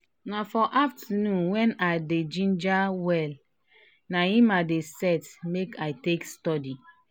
na for afternon when i dey ginger well na him i dey set make i take study.